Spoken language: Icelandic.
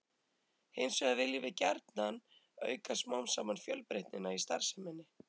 Hins vegar viljum við gjarnan auka smám saman fjölbreytnina í starfseminni.